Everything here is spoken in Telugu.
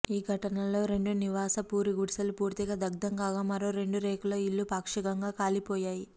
ఈ ఘటనలో రెండు నివాస పూరిగుడిసెలు పూర్తిగా దగ్దం కాగా మరో రెండు రేకుల ఇళ్ళు పాక్షికంగా కాలిపోయాయి